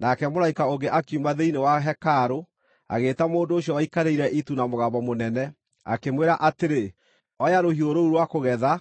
Nake mũraika ũngĩ akiuma thĩinĩ wa hekarũ, agĩĩta mũndũ ũcio waikarĩire itu na mũgambo mũnene, akĩmwĩra atĩrĩ, “Oya rũhiũ rũu rwa kũgetha,